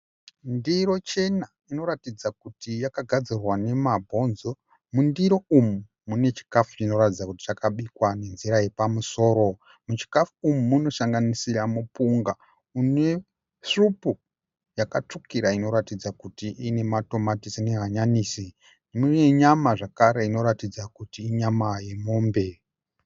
Ndiro chena inoratidza kuti yakagadzirwa nemabhonzo. Mundiro umu munotaridza kuti mune chikafu chakabikwa nenzira yepamusoro. Muchikafu umu munosanganisira mupunga une svupu yakatsvukira inoratidza kuti ine matomatisi nehanyanisi. Mune nyama zvakare inoratidza kuti inyama yemombe.